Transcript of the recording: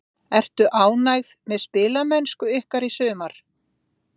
Ertu ánægð með spilamennsku ykkar í sumar?